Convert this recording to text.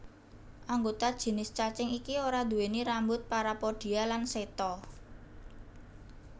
Anggota jinis cacing iki ora nduweni rambut parapodia lan seta